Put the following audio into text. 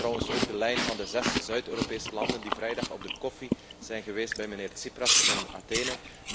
Dat was trouwens ook de lijn van de zes Zuid Europese landen die vrijdag op de koffie zijn geweest bij meneer Tsipras in Athene.